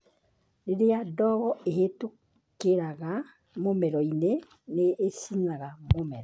Rĩrĩa ndogo ĩhĩtũkĩraga mũmero-inĩ, nĩ ĩcinaga mũmero .